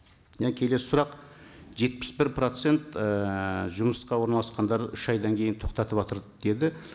і келесі сұрақ жетпіс бір процент ыыы жұмысқа орналасқандар үш айдан кейін тоқтатыватыр деді